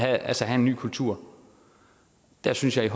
altså have en ny kultur der synes jeg